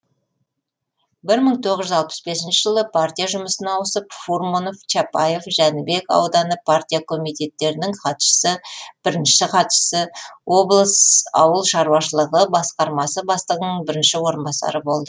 бір мың тоғыз жүз алпыс бесінші жылы пария жұмысына ауысып фурманов чапаев жәнібек ауданы партия комитетіттерінің хатшысы бірінші хатшысы облысы ауыл шаруашылығы басқармасы бастығының бірінші орынбасары болды